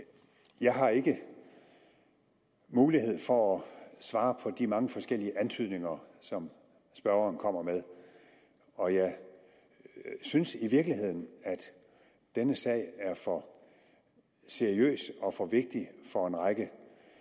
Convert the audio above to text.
jeg har ikke mulighed for at svare på de mange forskellige antydninger som spørgeren kommer med og jeg synes i virkeligheden at denne sag er for seriøs og for vigtig for en række